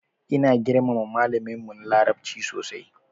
Ina girmama malamin mu na larabci sosai.